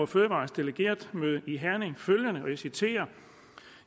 fødevarers delegeretmøde i herning følgende og jeg citerer